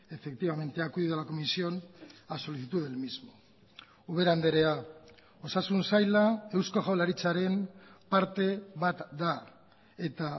efectivamente ha acudido a la comisión a solicitud del mismo ubera andrea osasun saila eusko jaurlaritzaren parte bat da eta